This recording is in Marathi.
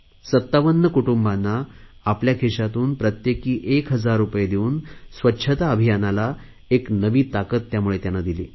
57 कुटुंबांना आपल्या खिशातून प्रत्येकी 1000 रुपये देऊन स्वच्छता अभियानाला एक नवी ताकद दिली